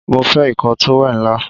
Mo fé ikoo towel ńlá